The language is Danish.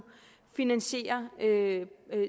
finansiere